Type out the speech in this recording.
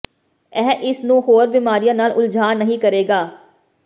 ਇਹ ਇਸ ਨੂੰ ਹੋਰ ਬਿਮਾਰੀਆਂ ਨਾਲ ਉਲਝਾਅ ਨਹੀਂ ਕਰੇਗਾ